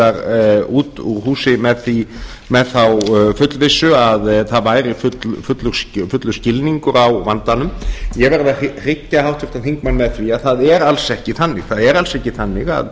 stjórnarliðar út úr húsi með þá fullvissu að það væri fullur skilningur á vandanum ég verð að hryggja háttvirtan þingmann með því að það er alls ekki þannig það er alls ekki þannig